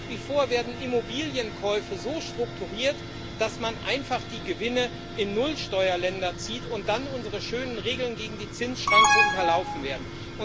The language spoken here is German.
Nach wie vor werden Immobilienkäufe so strukturiert, dass man einfach die Gewinne in Nullsteuerländer zieht und dann unsere schönen Regeln gegen die Zinsschranke unterlaufen werden.